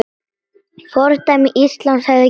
Fordæmi Íslands hefði gefist vel.